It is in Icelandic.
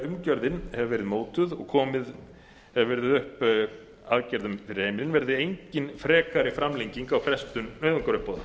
umgjörðin hefur verið mótuð og komið hefur verið upp aðgerðum fyrir heimilin verði engin frekari framlenging á frestun nauðungaruppboða